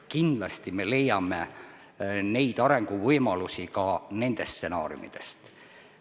Kindlasti me leiame arenguvõimalusi ka nendest stsenaariumidest.